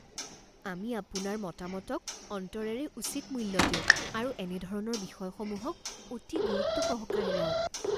আমি আপোনাৰ মতামতক অন্তৰেৰে উচিত মূল্য দিওঁ আৰু এনেধৰণৰ বিষয়সমূহক অতি গুৰুত্বসহকাৰে লওঁ।